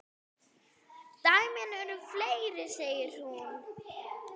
Dæmin eru fleiri, segir hún.